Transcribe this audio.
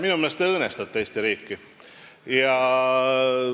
Minu meelest te õõnestate Eesti riiki.